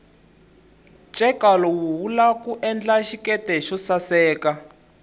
cheka lowu wula endla xiketi xosaseka